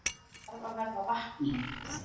Þarf að verða vakning